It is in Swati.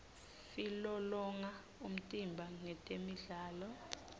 silolonga umtimba ngetemidlalo